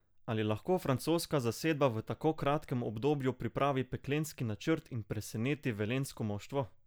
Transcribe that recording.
Ali lahko francoska zasedba v tako kratkem obdobju pripravi peklenski načrt in preseneti velenjsko moštvo?